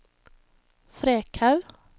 Frekhaug